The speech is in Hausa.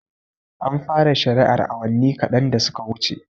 An fara shari'ar awanni kaɗan da suka wuce